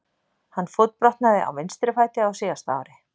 Hann fótbrotnaði á vinstri fæti á síðasta ári.